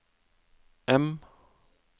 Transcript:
M